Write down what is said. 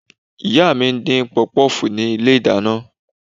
Ìyá mi ń dín pọpọ́fùù ní ilé-ìdáná